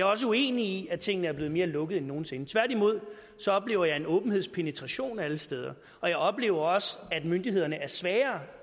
også uenig i at tingene er blevet mere lukkede end nogen sinde tværtimod oplever jeg en åbenhedspenetration alle steder og jeg oplever også at myndighederne er svagere